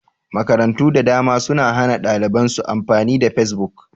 Makarantu da dama sun hana ɗaliban su amfani da fesbuk